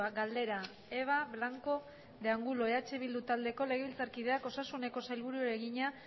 galdera eva blanco de angulo eh bildu taldeko legebiltzarkideak osasuneko sailburuari egina